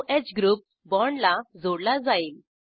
o ह group बाँडला जोडला जाईल